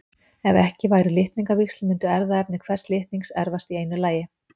ef ekki væru litningavíxl mundi erfðaefni hvers litnings erfast í einu lagi